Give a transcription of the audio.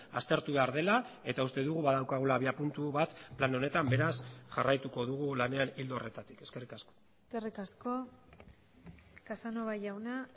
aztertu behar dela eta uste dugu badaukagula abiapuntu bat plan honetan beraz jarraituko dugu lanean ildo horretatik eskerrik asko eskerrik asko casanova jauna